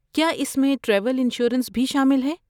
کیا اس میں ٹریول انشورنس بھی شامل ہے؟